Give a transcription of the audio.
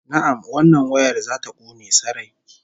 Na'am, wannan wayar za ta kone sarai